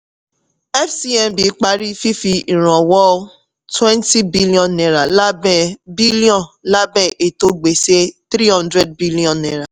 fcmb parí fífi ìrànwọ́ twenty billion naira lábẹ́ billion lábẹ́ ètò gbèsè three hundred billion naira